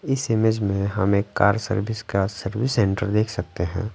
इस इमेज में हम एक कार सर्विस का सर्विस सेंटर देख सकते हैं।